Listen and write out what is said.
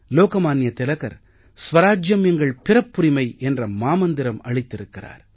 லோகமான்ய திலகர் ஸ்வராஜ்யம் எங்கள் பிறப்புரிமை என்ற மாமந்திரம் அளித்திருக்கிறார்